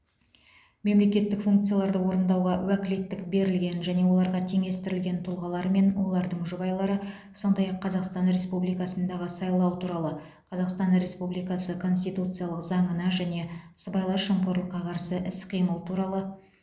мемлекеттік функцияларды орындауға уәкілеттік берілген және оларға теңестірілген тұлғалар мен олардың жұбайлары сондай ақ қазақстан республикасындағы сайлау туралы қазақстан республикасы конституциялық заңына және сыбайлас жемқорлыққа қарсы іс қимыл туралы